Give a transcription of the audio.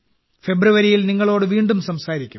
ഫെബ്രുവരിയിൽ നിങ്ങളോട് വീണ്ടും സംസാരിക്കും